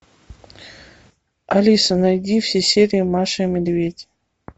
алиса найди все серии маша и медведь